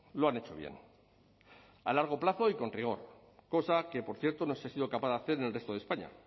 lo han hecho bien a largo plazo y con rigor cosa que por cierto no se ha sido capaz de hacer en el resto de españa